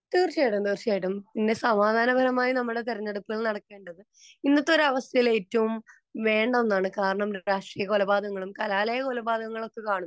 തീർച്ചയായിട്ടും തീർച്ചയായിട്ടും പിന്നെ സമാധാനപരമായി അല്ലെ നമ്മളെ തെരഞ്ഞെടുപ്പ് നടക്കേണ്ടത് ഇന്നത്തെ അവസ്ഥയിൽ ഏറ്റവും വേണ്ട ഒന്നാണ് കാരണം രാഷ്ട്രീയ കൊലപാതകങ്ങളും കലാലയ കൊലപാതകങ്ങളും കാണുമ്പോൾ